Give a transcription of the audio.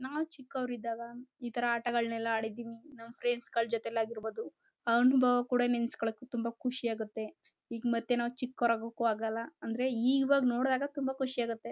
ನಾವು ಚಿಕ್ಕವರಿದ್ದಾಗ ಇತರ ಆಟಗಳಲ್ಲ ಆಡಿದ್ದೀವಿ ಫ್ರೆಂಡ್ಸ್ಗಗಳ ಜೊತೆ ಆಗಿರ್ಬೋದು ಅನುಭವ ಕೂಡ ನೆನ್ಸ್ ಕೊಳಕ್ಕೆ ತುಂಬಾ ಖುಷಿಯಾಗುತ್ತೆ ಈಗ ಮತ್ತೆ ನಾವು ಮತ್ತೆ ಚಿಕ್ಕವರು ಆಗಕ್ಕಾಗಲ್ಲ ಅಂದ್ರೆ ಈಗ ನೋಡಿದಾಗ ತುಂಬಾ ಖುಷಿಯಾಗುತ್ತೆ.